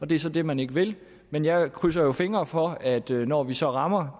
det er så det man ikke vil men jeg krydser jo fingre for at der når vi så rammer